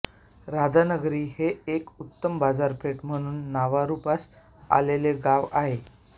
राधानगरी हे एक उत्तम बाजारपेठ म्हणून नावारूपास आलेले गाव आहे